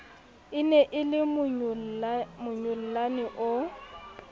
e ne e lemonyollane o